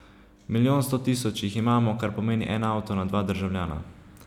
Milijon sto tisoč jih imamo, kar pomeni en avto na dva državljana.